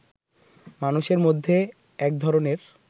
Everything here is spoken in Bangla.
মানুষের মধ্যে একধরনের